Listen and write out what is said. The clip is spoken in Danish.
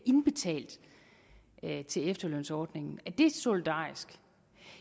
indbetalt til efterlønsordningen er det solidarisk